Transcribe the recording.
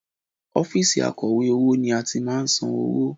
Ọ́fíìsì akọ̀wé owó ni a ti máa ń san owó